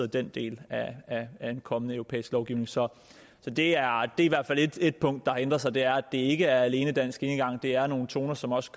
den del af en kommende europæisk lovgivning så det er i hvert fald et et punkt der har ændret sig det er ikke alene dansk enegang det er nogle toner som også